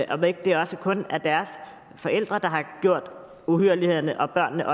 om ikke det også kun er deres forældre der har gjort uhyrlighederne og at børnene